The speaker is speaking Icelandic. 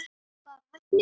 Bara heppni?